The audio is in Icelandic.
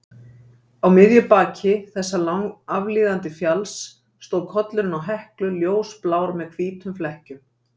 Á miðju baki þessa langa aflíðandi fjalls stóð kollurinn á Heklu, ljósblár með hvítum flekkjum.